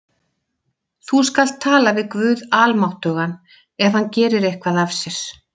Þú skalt tala við guð almáttugan, ef hann gerir eitthvað af sér?